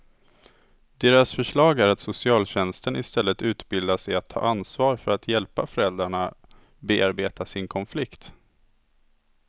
Deras förslag är att socialtjänsten istället utbildas i att ta ansvar för att hjälpa föräldrarna bearbeta sin konflikt.